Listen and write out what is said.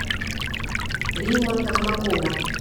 римма токмакова